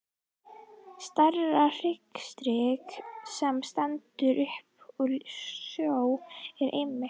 Stærsta hryggjarstykkið, sem stendur upp úr sjó, er einmitt